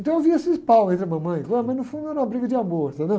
Então eu vi esses paus entre a mamãe, mas no fundo era uma briga de amor, entendeu?